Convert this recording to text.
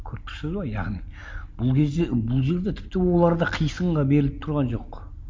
көріп тұрсыз ба яғни бұл кезде бұл жерде тіпті олар да қисынға беріліп тұрған жоқ